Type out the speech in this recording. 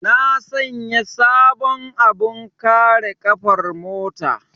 Na sanya sabon abin kare ƙafar mota.